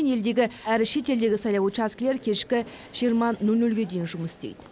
елдегі әрі шетелдегі сайлау учаскелері кешкі жиырма нөл нөлге дейін жұмыс істейді